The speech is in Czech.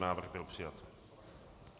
Návrh byl přijat.